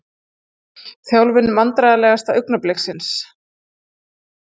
Þjálfun Vandræðalegasta augnablik?